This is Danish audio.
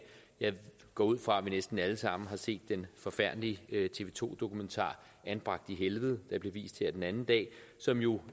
jeg går ud fra at vi næsten alle sammen har set den forfærdelige tv to dokumentar anbragt i helvede der blev vist her den anden dag som jo